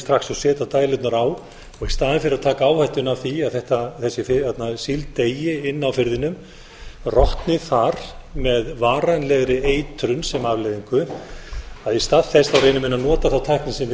strax og setja dælurnar á í staðinn fyrir að taka áhættuna af því að þessi síld deyi inni á firðinum rotni þar með varanlegri eitrun sem afleiðingu að í stað þess reyni menn að nota þá tækni sem við